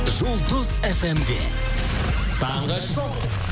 жұлдыз фмде таңғы шоу